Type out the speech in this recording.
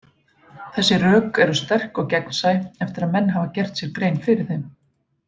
Þessi rök eru sterk og gegnsæ eftir að menn hafa gert sér grein fyrir þeim.